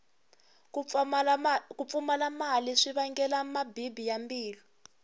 ku pfumala mali swi vangela mabibi ya mbilu